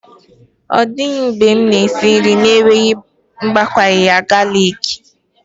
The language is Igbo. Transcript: Ọ dịtụbeghị mgbe m na-esi nri n'enweghị ịgbakwunye galiki